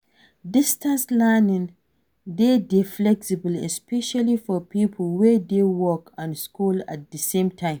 Distance learning de dey flexible especially for pipo wey dey work and school at di same time